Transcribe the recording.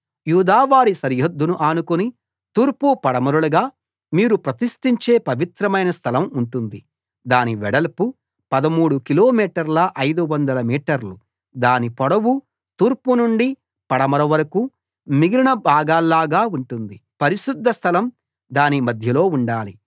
యూదావారి సరిహద్దును అనుకుని తూర్పు పడమరలుగా మీరు ప్రతిష్టించే పవిత్రమైన స్థలం ఉంటుంది దాని వెడల్పు 13 కిలోమీటర్ల 500 మీటర్లు దాని పొడవు తూర్పు నుండి పడమర వరకూ మిగిలిన భాగాల్లాగా ఉంటుంది పరిశుద్ధ స్థలం దాని మధ్యలో ఉండాలి